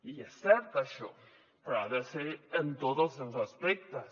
i és cert això però ha de ser en tots els seus aspectes